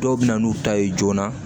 Dɔw bɛ na n'u ta ye joona